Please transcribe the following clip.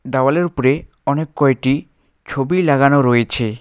দাওয়ালের উপরে অনেক কয়টি ছবি লাগানো রয়েছে।